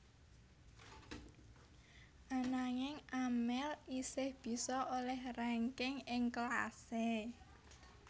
Ananging Amel isih bisa olèh rangking ing kelasé